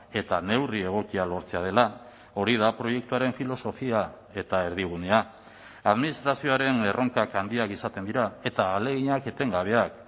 eta neurri egokia lortzea dela hori da proiektuaren filosofia eta erdigunea administrazioaren erronkak handiak izaten dira eta ahaleginak etengabeak